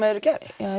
eru gerð